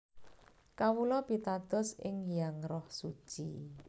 Kawula pitados ing Hyang Roh Suci